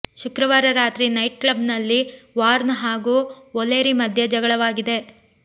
ಶುಕ್ರವಾರ ರಾತ್ರಿ night club ನಲ್ಲಿ ವಾರ್ನ್ ಹಾಗೂ ವೊಲೆರಿ ಮಧ್ಯೆ ಜಗಳವಾಗಿದೆ